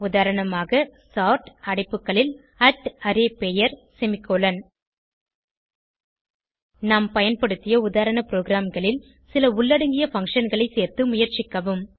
உதாரணமாக சோர்ட் அடைப்புகளில் arrayபெயர் செமிகோலன் நாம் பயன்படுத்திய உதாரண ப்ரோகிராம்களில் சில உள்ளடங்கிய functionகளை சேர்த்து முயற்சிக்கவும்